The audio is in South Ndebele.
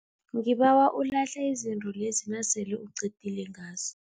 Ngibawa ulahle izinto lezi nasele uqedile ngazo.